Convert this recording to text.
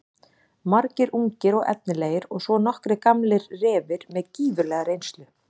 Margir ungir og efnilegir og svo nokkrir gamlir refir með gífurlega reynslu.